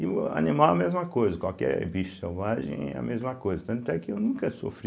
E o animal é a mesma coisa, qualquer bicho selvagem é a mesma coisa, tanto é que eu nunca sofri